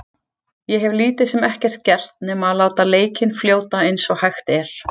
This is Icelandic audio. Ég hef lítið sem ekkert gert nema að láta leikinn fljóta eins og hægt er.